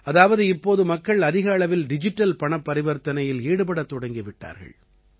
அதாவது இப்போது மக்கள் அதிக அளவில் டிஜிட்டல் பணப் பரிவர்த்தனையில் ஈடுபடத் தொடங்கி விட்டார்கள்